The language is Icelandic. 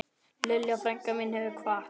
Lilja frænka mín hefur kvatt.